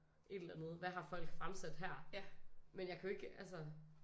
Et eller andet hvad har folk fremsat her men jeg kan jo ikke altså